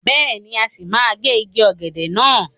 Bẹ́ẹ̀ni, a sì máa gé igi ọ̀gẹ̀dẹ̀ náà.